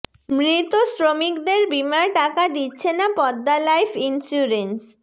মৃত শ্রমিকদের বিমার টাকা দিচ্ছে না পদ্মা লাইফ ইনস্যুরেন্স